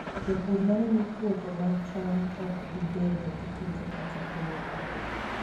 Jopur neno ni puothe mag cham ok bi bedo gi kute kata tuoche.